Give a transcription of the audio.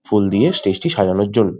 ফুল দিয়ে স্টেজ টি সাজানোর জন্য।